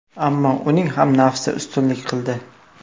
Ammo uning ham nafsi ustunlik qildi.